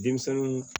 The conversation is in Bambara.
Denmisɛnninw